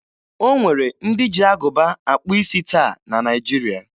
O nwere ndị ji agụba akpụ isi taa na Naịjiria.